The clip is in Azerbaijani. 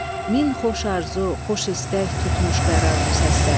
Min xoş arzu, xoş istək tutmuş qərar bu səsdə.